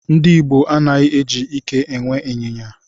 Ndị Igbo anaghị eji ike e nwe ịnyịnya.